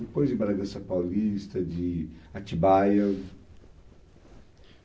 Depois de Bragança Paulista, de Atibaia.